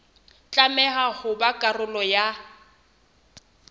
tlameha ho ba karolo ya